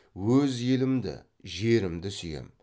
өз елімді жерімді сүйем